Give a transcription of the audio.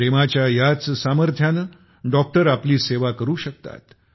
प्रेमाच्या याच सामर्थ्याने डॉक्टर आपली सेवा करू शकतात